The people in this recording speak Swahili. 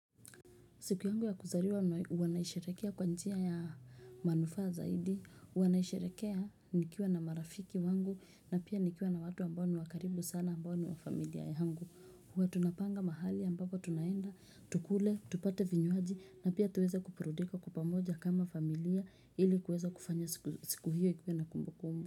Siku yangu ya kuzaliwa wanaisharekea kwa njia ya manufaa zaidi, wanaisharekea nikiwa na marafiki wangu na pia nikiwa na watu ambao ni wakaribu sana ambao ni wafamilia ya yangu. Huwa tunapanga mahali ambapo tunaenda, tukule, tupate vinywaji na pia tuweze kuburudika kwa pamoja kama familia ili kuweza kufanya siku hiyo ikue na kumbu kumbu.